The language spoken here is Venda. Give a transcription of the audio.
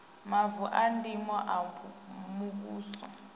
mavu a ndimo a muvhuso